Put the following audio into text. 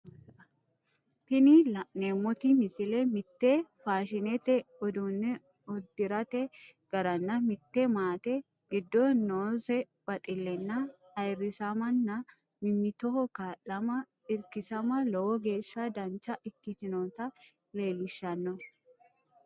Tini la'neemoti misile mite faashinete uduune uderate garanna mite maate gido noose baxilenna ayirisammanna mimitoho kaa'lamma irkisamma lowo geesha dancha ikitinota leelishano.